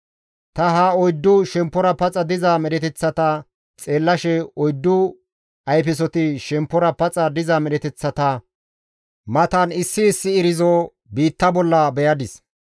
Ta ha oyddu shemppora paxa diza medheteththata xeellashe, oyddu ayfesoti shemppora paxa diza medheteththata matan issi issi irzo biitta bolla beyadis.